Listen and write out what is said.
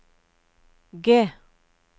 G